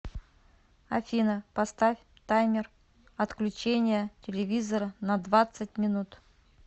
афина поставь таймер отключения телевизора на двадцать минут